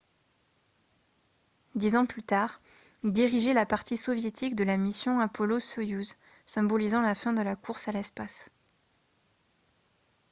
dix ans plus tard il dirigeait la partie soviétique de la mission apollo-soyouz symbolisant la fin de la course à l'espace